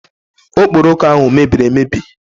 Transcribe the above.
Okporoko ahụ mebiri emebi